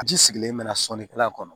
Ji sigilen mɛ na sɔnni kɛla kɔnɔ